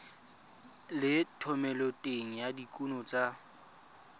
le thomeloteng ya dikuno tsa